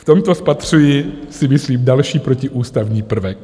V tomto spatřuji, si myslím, další protiústavní prvek.